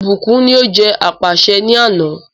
Ìbùkún ní o jẹ́ apàṣẹ ni àná.